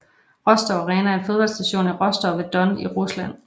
Rostov Arena er et fodboldstadion i Rostov ved Don i Rusland